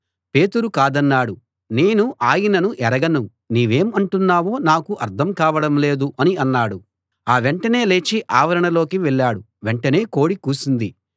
పేతురు కాదన్నాడు నేను ఆయనను ఎరగను నీవేం అంటున్నావో నాకు అర్థం కావడం లేదు అని అన్నాడు ఆ వెంటనే లేచి ఆవరణలోకి వెళ్ళాడు వెంటనే కోడి కూసింది